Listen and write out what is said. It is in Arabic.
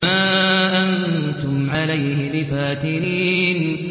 مَا أَنتُمْ عَلَيْهِ بِفَاتِنِينَ